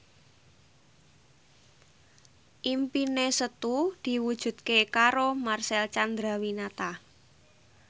impine Setu diwujudke karo Marcel Chandrawinata